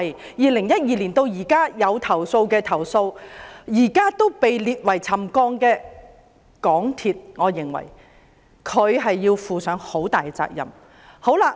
由2012年至今作出了投訴而現時被列為沉降的個案，我認為港鐵公司要負上很大的責任。